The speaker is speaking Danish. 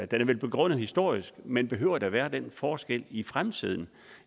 den er vel begrundet historisk men behøver der være den forskel i fremtiden